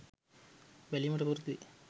බැලීමට පුරුදු වේ.